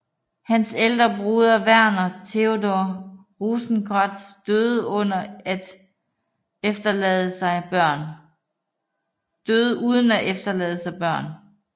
Hans ældre broder Verner Theodor Rosenkrantz døde uden at efterlade sig børn